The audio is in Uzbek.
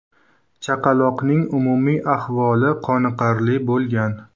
Chaqaloqning umumiy ahvoli qoniqarli bo‘lgan.